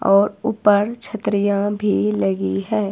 और ऊपर छतरियां भी लगी है।